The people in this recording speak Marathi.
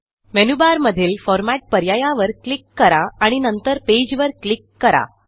मेनूबारमधील Formatपर्यायावर क्लिक करा आणि नंतरPageवर क्लिक करा